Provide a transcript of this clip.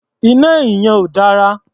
Iná ẹ̀yìn yẹn ò dára.